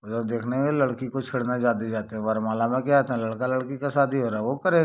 उधर देखने में लड़की को छेड़ ने जाते-जाते वरमाला में क्या लड़का- लड़की का शादी हो रहा है वो करे।